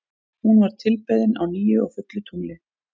Hún var tilbeðin á nýju og fullu tungli.